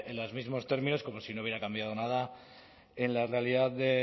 los mismos términos como si no hubiera cambiado nada en la realidad de